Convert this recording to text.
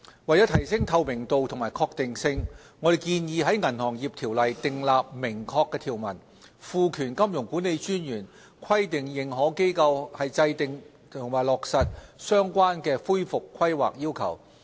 為提升透明度及確定性，我們建議在《銀行業條例》訂立明確條文，賦權金融管理專員規定認可機構制訂並落實相關的恢復規劃要求。